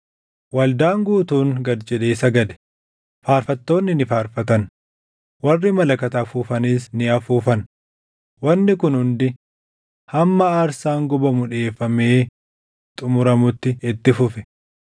Waldaan guutuun gad jedhee sagade; faarfattoonni ni faarfatan; warri malakata afuufanis ni afuufan. Wanni kun hundi hamma aarsaan gubamu dhiʼeeffamee xumuramutti itti fufe.